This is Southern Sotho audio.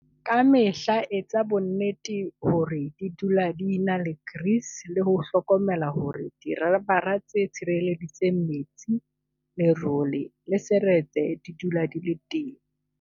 Ka mehla etsa bonnete hore di dula di ena le grease le ho hlokomela hore dirabara tse tshireletsang metsi, lerole le seretse di dula di le teng.